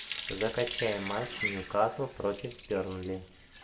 закачай матч ньюкасл против бернли